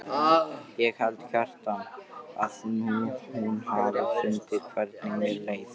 Ég held, Kjartan, að hún hafi fundið hvernig mér leið.